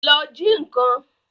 Lọ ji nǹkan!